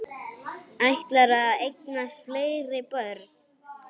Ætlarðu að eignast fleiri börn?